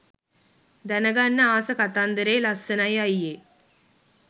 දැනගන්න ආස කතාන්දරෙ ලස්සනයි අයියෙ